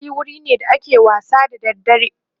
dandali wurine da ake wasa da dare